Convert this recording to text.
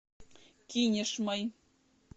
кинешмой